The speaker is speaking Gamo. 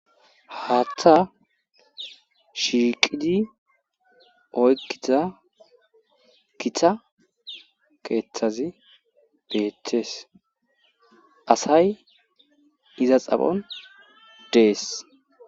Haatta shiiqidi oykkita kita keeththazi beettees asay iza xaphon dees